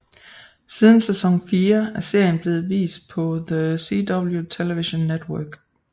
Siden sæson 4 er serien blevet vist på The CW Television Network